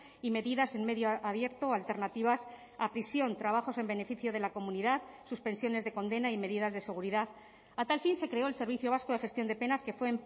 y medidas en medio abierto o alternativas a prisión trabajos en beneficio de la comunidad suspensiones de condena y medidas de seguridad a tal fin se creó el servicio vasco de gestión de penas que fue